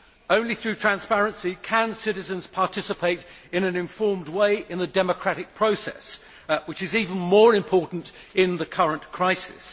Only through transparency can citizens participate in an informed way in the democratic process, which is even more important in the current crisis.